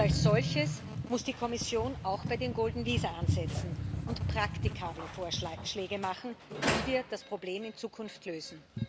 Und als solches muss die Kommission auch bei den golden visa ansetzen und praktikable Vorschläge machen, wie wir das Problem in Zukunft lösen.